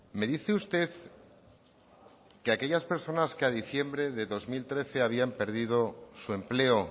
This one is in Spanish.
me dice usted que aquellas personas que a diciembre de dos mil trece habían perdido su empleo